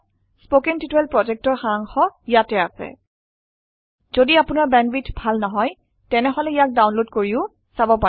কথন শিক্ষণ প্ৰকল্পৰ সাৰাংশ ইয়াত আছে যদি আপোনাৰ বেন্দৱিথ ভাল নহয় তেনেহলে ইয়াক ডাউনলোড কৰিও চাব পাৰে